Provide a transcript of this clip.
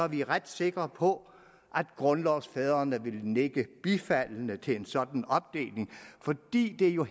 vi ret sikre på at grundlovsfædrene ville nikke bifaldende til en sådan opdeling fordi det jo